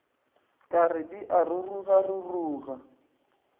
ka re di a rurugaruruga